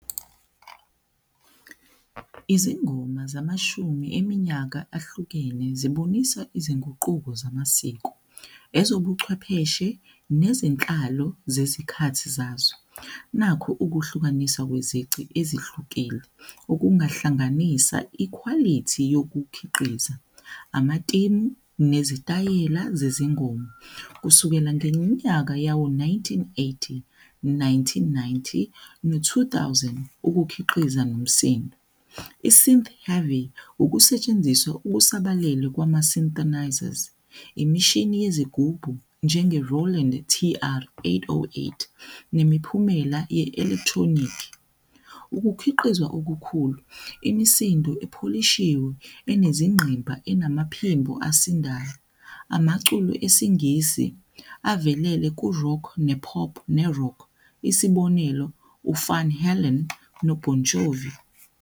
Izingoma zamashumi eminyaka ahlukene zibonisa izinguquko zamasiko, ezobuchwepheshe nezenhlalo zezikhathi zazo, nakhu ukuhlukaniswa kwezici ezihlukile. Okungahlanganisa ikhwalithi yokukhiqiza, amatimu, nezitayela zezingoma kusukela ngeminyaka yawo-nineteen-eighty, nineteen-ninenty, no-two thousand ukukhiqiza nomsindo. I-synth herry ukusetshenziswa okusabalele kwama-synthenisers, imishini yezigubhu, njenge rowland T_I eight owu eight nemiphumela ye-elekthronikhi. Ukukhiqizwa okukhulu imisindo epholishiwe enezingqimba enamaphimbo asindayo amaculo esingisi avelele ku-rock ne-pop ne-rock. Isibonelo u-Van Helene no-Bonjour.